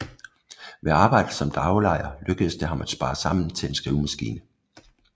Ved arbejde som daglejer lykkedes det ham at spare sammen til en skrivemaskine